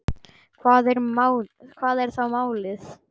Hvað er þá málið?